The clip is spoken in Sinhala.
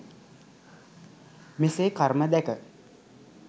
මෙසේ කර්ම දැක